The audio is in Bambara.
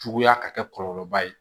Juguya ka kɛ kɔlɔlɔba ye